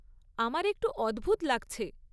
আমার একটু অদ্ভুত লাগছে।